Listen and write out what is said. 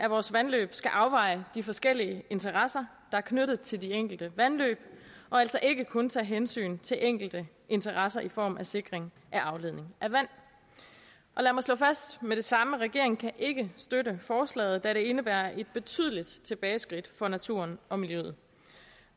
vores vandløb skal afveje de forskellige interesser er knyttet til de enkelte vandløb og altså ikke kun tage hensyn til enkelte interesser i form af sikring af afledning af vand lad mig slå fast med det samme regeringen kan ikke støtte forslaget da det indebærer et betydeligt tilbageskridt for naturen og miljøet